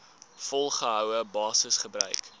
volgehoue basis gebruik